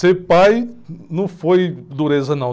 Ser pai não foi dureza, não.